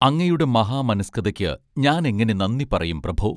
അങ്ങയുടെ മഹാമനസ്കതയ്ക്ക് ഞാനെങ്ങനെ നന്ദി പറയും പ്രഭോ